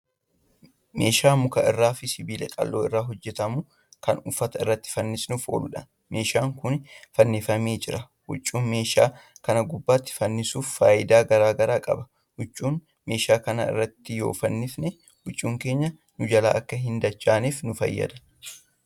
Meeshaa muka irraa fi sibiila qaqal'oo irraa hojjatamu Kan uffata irratti fannisuuf ooludha. meeshaan Kuni fannifamee jira. huccuu meeshaa Kan gubbaatti fannisuun faayidaa garagaraa qaba. huccuu meeshaa kanaarratti yoo fannisne huccuu keenya nu jalaa akka hin dadachaaneef nu fayyada.